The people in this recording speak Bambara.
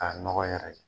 K'a nɔgɔ yɛrɛ